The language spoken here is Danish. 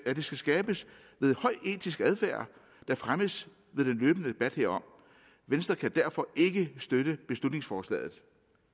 skal skabes ved høj etisk adfærd der fremmes ved den løbende debat herom venstre kan derfor ikke støtte beslutningsforslaget